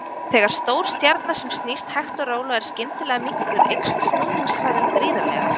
Þegar stór stjarna sem snýst hægt og rólega er skyndilega minnkuð eykst snúningshraðinn gríðarlega.